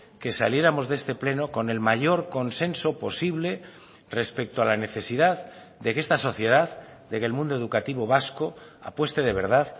que saliéramos de este pleno con el mayor consenso posible respecto a la necesidad de que esta sociedad de que el mundo educativo vasco apueste de verdad